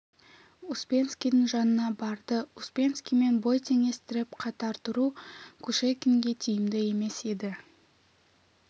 успенскийдің жанына барды успенскиймен бой теңестіріп қатар тұру кушекинге тиімді емес еді